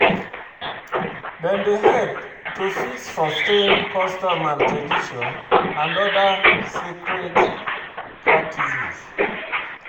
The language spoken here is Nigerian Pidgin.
Dem dey help to fit sustain customs and tradition and oda sacred practices